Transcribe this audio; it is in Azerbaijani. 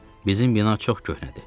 Bizim bina çox köhnədir.